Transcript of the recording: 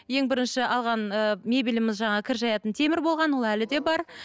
ең бірінші алған ы мебеліміз жаңағы кір жаятын темір болған ол әлі де бар